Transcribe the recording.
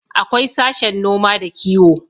akwai sashen noma da kiwo